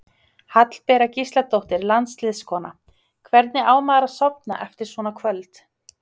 Hallbera Gísladóttir landsliðskona: Hvernig á maður að sofna eftir svona kvöld?